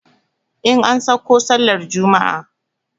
In an sauko sallar juma'a